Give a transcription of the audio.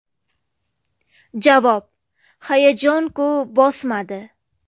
Javob: Hayajon-ku bosmadi.